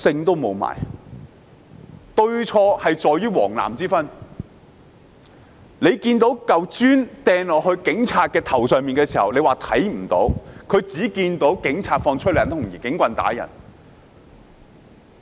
對錯是在於黃藍之分，當有人將磚頭擲到警察頭上時，有些人竟說看不到，他們只看到警察施放催淚彈，使用警棍打人。